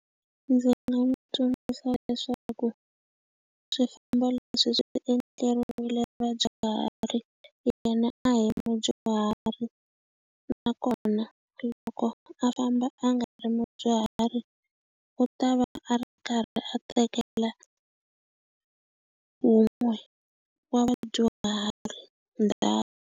Ndzi nga n'wi tsundzuxa leswaku swifambo leswi swi endleriwile vadyuhari, yena a hi mudyuhari. Nakona loko a famba a nga ri mudyuhari, u ta va a karhi a tekela wun'we wa vadyuhari ndhawu.